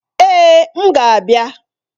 Èè! M ga-abịa.